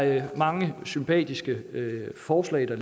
er mange sympatiske forslag